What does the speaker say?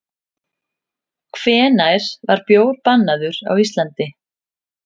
Hvenær var bjór bannaður á Íslandi?